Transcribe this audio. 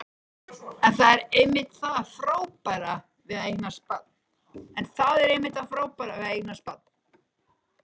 En það er einmitt það frábæra við að eignast barn.